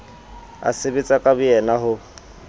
a sebetsa ka boyena ho